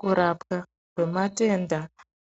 Kurapwa kwematenda